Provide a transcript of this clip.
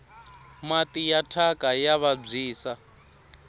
mati ya thyaka ya vabyisa